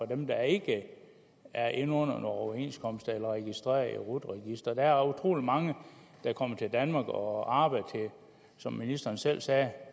dem der ikke er inde under en overenskomst eller er registreret i rut registeret der er utrolig mange der kommer til danmark og arbejder som ministeren selv sagde